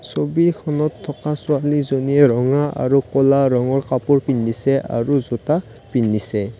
ছবিখনত থকা ছোৱালীজনীয়ে ৰঙা আৰু ক'লা ৰঙৰ কাপোৰ পিন্ধিছে আৰু জোতা পিন্ধিছে।